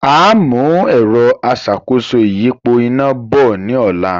Áà mú ẹ̀rọ aṣàkóso ìyípo iná” bọ̀ ní ọ̀la